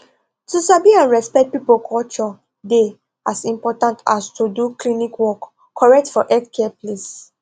to sabi and respect people culture dey as important as to do klinik work correct for healthcare place